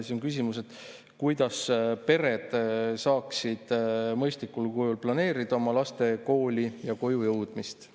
Siis on küsimus, kuidas pered saaksid mõistlikul kujul planeerida oma laste kooli ja koju jõudmist.